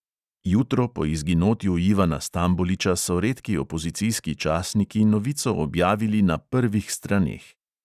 Jutro po izginotju ivana stamboliča so redki opozicijski časniki novico objavili na prvih straneh.